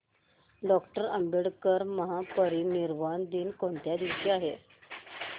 doctor Ambedkar महापरिनिर्वाण दिन कोणत्या दिवशी आहे